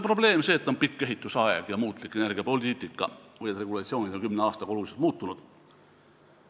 Probleem ei ole pikk ehitusaeg ja muutlik energiapoliitika ehk see, et regulatsioonid on kümne aastaga oluliselt muutunud.